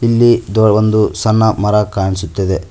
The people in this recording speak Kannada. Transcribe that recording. ಇಲ್ಲಿ ದೋ ಒಂದು ಸಣ್ಣ ಮರ ಕಾಣಿಸುತ್ತಿದೆ.